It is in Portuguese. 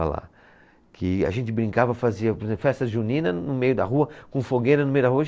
Lá. Que a gente brincava, fazia por exemplo, festa junina no meio da rua, com fogueira no meio da rua.